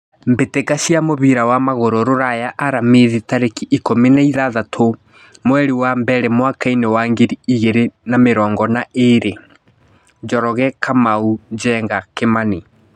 Mbĩtĩka cia mũbira wa magũrũ Ruraya Aramithi tarĩki ikũmi na ithathatũ mweri wa mbere mwakainĩ wa ngiri igĩrĩ na mĩrongo ĩrĩ: Njoroge, Kamau, Njenga, Kimani.